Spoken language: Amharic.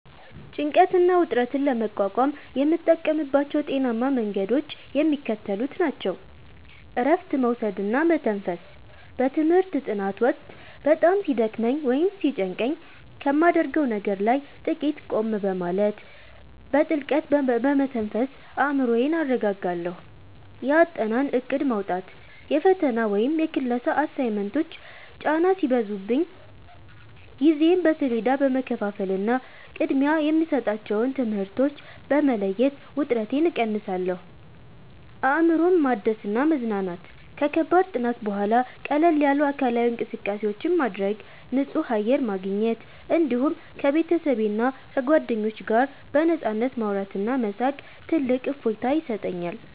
ጭንቀትና ውጥረትን ለመቋቋም የምጠቀምባቸው ጤናማ መንገዶች የሚከተሉት ናቸው፦ እረፍት መውሰድና መተንፈስ፦ በትምህርት ጥናት ወቅት በጣም ሲደክመኝ ወይም ሲጨንቀኝ ከማደርገው ነገር ላይ ጥቂት ቆም በማለት፣ በጥልቀት በመተንፈስ አእምሮዬን አረጋጋለሁ። የአጠናን እቅድ ማውጣት፦ የፈተና ወይም የክላስ አሳይመንቶች ጫና ሲበዙብኝ ጊዜዬን በሰሌዳ በመከፋፈልና ቅድሚያ የሚሰጣቸውን ትምህርቶች በመለየት ውጥረቴን እቀንሳለሁ። አእምሮን ማደስና መዝናናት፦ ከከባድ ጥናት በኋላ ቀለል ያሉ አካላዊ እንቅስቃሴዎችን ማድረግ፣ ንጹህ አየር ማግኘት፣ እንዲሁም ከቤተሰብና ከጓደኞች ጋር በነፃነት ማውራትና መሳቅ ትልቅ እፎይታ ይሰጠኛል።